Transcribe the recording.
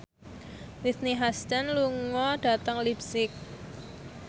Whitney Houston lunga dhateng leipzig